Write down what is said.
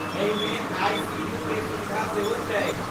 एहिमे आई.सी.यू. के सुविधा सेहो छैक।